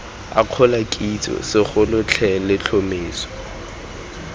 akgola kitso segolo the letlhomeso